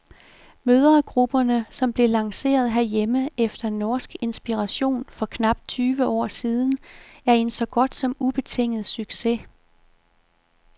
Mødregrupperne, som blev lanceret herhjemme efter norsk inspiration for knap tyve år siden, er en så godt som ubetinget succes.